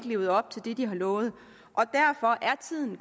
levet op til det de havde lovet og at tiden